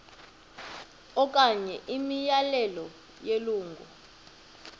okanye imiyalelo yelungu